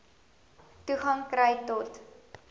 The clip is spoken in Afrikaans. toegang kry tot